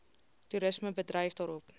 toerisme bedryf daarop